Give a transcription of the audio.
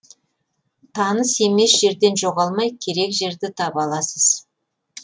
таныс емес жерден жоғалмай керек жерді таба аласыз